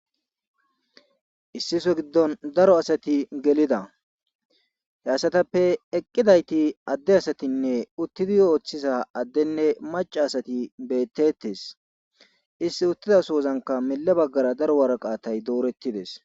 Issi so giddon daro asati gelida he assatappe eqqidayti adde asatinne uttidi ooththiza addenne maca asati bettettes issi uttida soozanka mele baggara daro waraqaatay doorettides